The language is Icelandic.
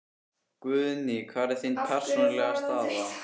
Guðný: Hver er þín persónulega staða?